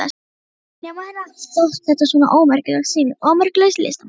Nema henni hafi þótt þetta svona ómerkileg sýning, ómerkilegs listamanns.